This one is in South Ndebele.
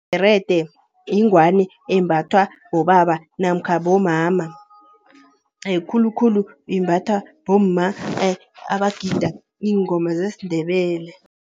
Ibherede yingwani embathwa bobaba namkha bomama, khulukhulu imbathwa bomma abagida iingoma zesiNdebele.